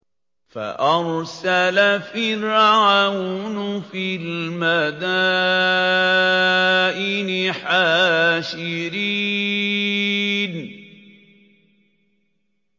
فَأَرْسَلَ فِرْعَوْنُ فِي الْمَدَائِنِ حَاشِرِينَ